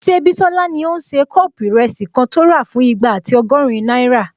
Ṣé Bísọ́lá ní o n ṣe kọ́ọ̀pù ìrẹsì kan tó rà fún igba ati ọgọ́rin náírà?